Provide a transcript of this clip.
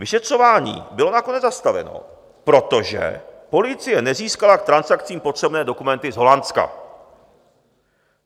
Vyšetřování bylo nakonec zastaveno, protože policie nezískala k transakcím potřebné dokumenty z Holandska.